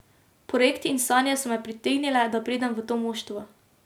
Projekt in sanje so me pritegnile, da pridem v to moštvo.